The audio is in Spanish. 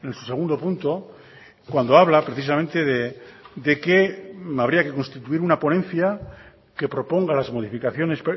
su segundo punto cuando habla precisamente de que habría que constituir una ponencia que proponga las modificaciones